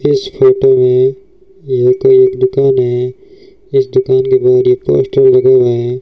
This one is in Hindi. इस फोटो में यहां पर एक दुकान है इस दुकान के बाहर पोस्टर लगा हुआ है।